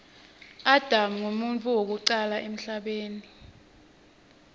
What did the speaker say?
adam nqumuntfu wekucala emhlabeni